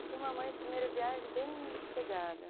Eu fui uma mãe de primeira viagem bem sossegada.